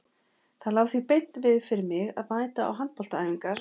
Það lá því beint við fyrir mig að mæta á handboltaæfingar hjá